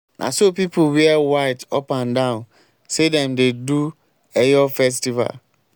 na so people wear white up and down sey sey dem dey do eyo festival.